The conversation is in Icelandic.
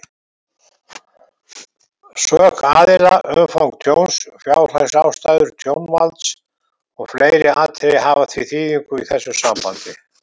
Sök aðila, umfang tjóns, fjárhagsástæður tjónvalds og fleiri atriði hafa því þýðingu í þessu sambandi.